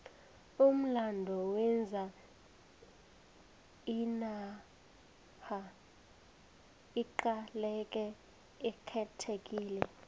umlando wenza inarha iqaleke ikhethekile